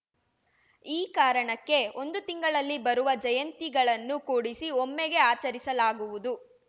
ಈ ಕಾರಣಕ್ಕೆ ಒಂದು ತಿಂಗಳಲ್ಲಿ ಬರುವ ಜಯಂತಿಗಳನ್ನು ಕೂಡಿಸಿ ಒಮ್ಮೆಗೆ ಆಚರಿಸಲಾಗುವುದು